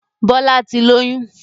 Bọlá tí lóyún